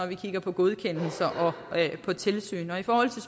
vi kigger på godkendelser og på tilsyn og i forhold til